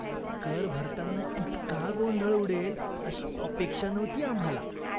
कर भरताना इतका गोंधळ उडेल अशी अपेक्षा नव्हती आम्हाला!